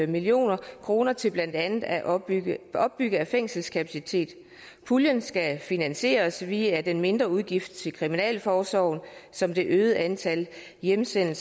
million kroner til blandt andet at opbygge opbygge fængselskapacitet puljen skal finansieres via den mindre udgift til kriminalforsorgen som det øgede antal hjemsendte